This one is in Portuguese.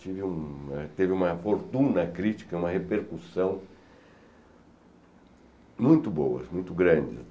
Tive uma teve uma fortuna crítica, uma repercussão muito boa, muito grande.